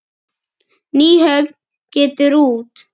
Nýhöfn getur út.